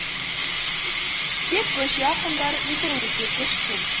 тек көше ақындары интернетке көшкен